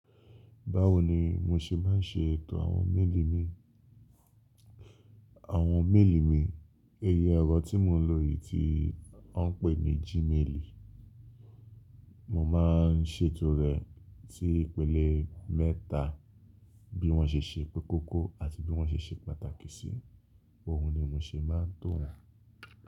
Báwo ni mo ṣe maá ń ṣe ètò àwọn méèlì mi, àwọn méèlì mi, ẹyẹ ọ̀rọ̀ tí mò ń lò yìí tí wọ́n ń pè ní Gmail. Mo máa ń ṣètò rẹ̀ sí ìpele mẹ́ta, bí wọ́n ṣe ṣe kókó àti bí wọ́n ṣe ṣe pàtàkì sí, òun ni mo ṣe máa ń tò wọ́n.